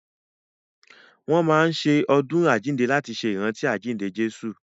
Wọ́n máa n ṣe ọdún àjínde láti ṣe ìrántí àjínde Jésù